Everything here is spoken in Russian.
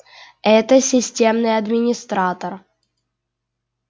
это системный администратор